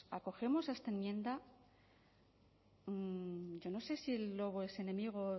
acogemos a esta enmienda yo no sé si el lobo es enemigo